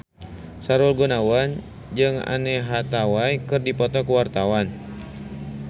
Sahrul Gunawan jeung Anne Hathaway keur dipoto ku wartawan